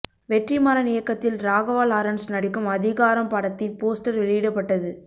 வெற்றிமாறன் இயக்கத்தில் ராகவா லாரன்ஸ் நடிக்கும் அதிகாரம் படத்தின் போஸ்டர் வெளியிடப்பட்டது